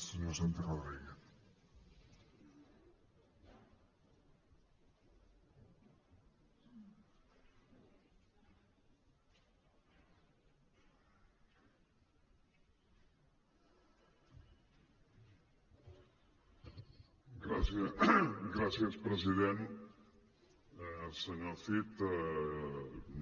senyor cid